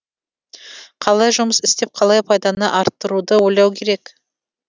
қалай жұмыс істеп қалай пайданы арттыруды ойлау керек